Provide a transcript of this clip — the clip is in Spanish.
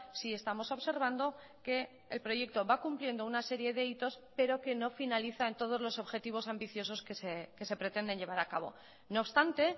sí estamos observando que el proyecto va cumpliendo una serie de hitos pero que no finalizan todos los objetivos ambiciosos que se pretenden llevar a cabo no obstante